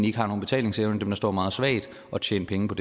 ikke har nogen betalingsevne dem der står meget svagt og tjene penge på